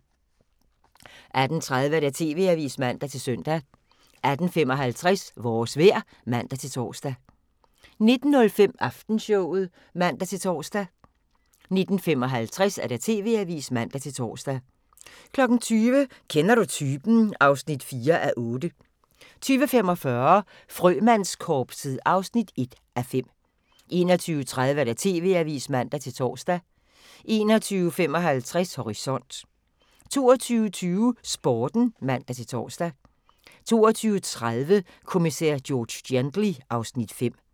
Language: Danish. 18:30: TV-avisen (man-søn) 18:55: Vores vejr (man-tor) 19:05: Aftenshowet (man-tor) 19:55: TV-avisen (man-tor) 20:00: Kender du typen? (4:8) 20:45: Frømandskorpset (1:5) 21:30: TV-avisen (man-tor) 21:55: Horisont 22:20: Sporten (man-tor) 22:30: Kommissær George Gently (Afs. 5)